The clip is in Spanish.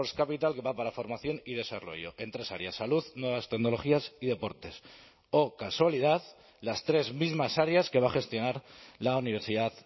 capital que va para formación y desarrollo en tres áreas salud nuevas tecnologías y deportes o casualidad las tres mismas áreas que va a gestionar la universidad